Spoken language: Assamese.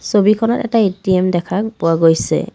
ছবিখনত এটা এ_টি_এম দেখা পোৱা গৈছে।